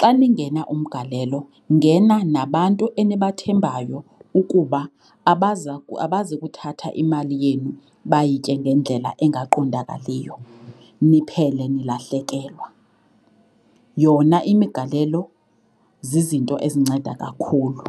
xa ningena umgalelo ngena nabantu enibathembayo ukuba abazi kuthatha imali yenu bayitye ngendlela engaqondakaliyo niphele nilahlekelwa. Yona imigalelo zizinto ezinceda kakhulu.